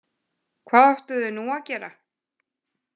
Hvað áttu þau nú að gera?